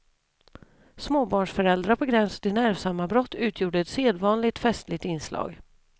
Småbarnsföräldrar på gränsen till nervsammanbrott utgjorde ett sedvanligt festligt inslag.